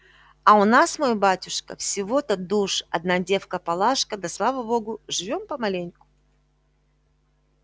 а у нас мой батюшка всего-то душ одна девка палашка да слава богу живём помаленьку